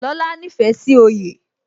Lóla nífẹ̀ẹ́ sí oyè